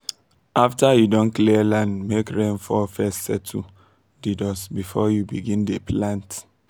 after you don clear land make rain fall first settle the dust before you begin dey plant